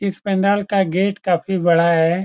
इस पंडाल का गेट काफी बड़ा है ।